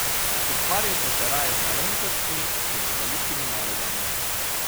Ukvarjajte se raje z malenkostmi kot z velikimi nalogami.